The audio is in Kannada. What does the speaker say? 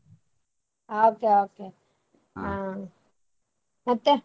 Okay, okay ಮತ್ತೆ?